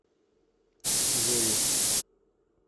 зою